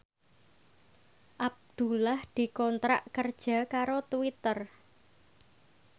Abdullah dikontrak kerja karo Twitter